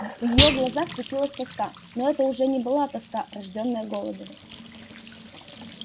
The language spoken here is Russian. в её глазах светилась тоска но это уже не была тоска рождённая голодом